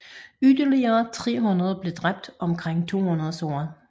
Yderligere 30 blev dræbt og omkring 200 såret